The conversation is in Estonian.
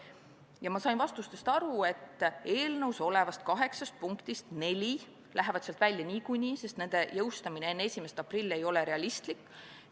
Ja ma sain vastustest aru, et eelnõus olevast kaheksast punktist neli lähevad sealt välja niikuinii, sest nende jõustamine enne 1. aprilli ei ole realistlik.